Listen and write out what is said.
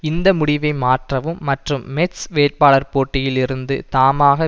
இந்த முடிவை மாற்றவும் மற்றும் மெட்ஸ் வேட்பாளர் போட்டியில் இருந்து தாமாக